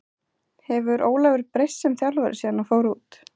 Hefur Ólafur breyst sem þjálfari síðan hann fór út?